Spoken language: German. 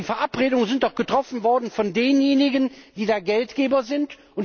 Die Verabredungen sind doch getroffen worden von denjenigen, die da Geldgeber sind